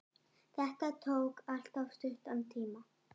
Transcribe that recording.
Þetta tók alltof stuttan tíma.